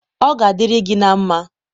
ọ ga adịrị gị na mmá.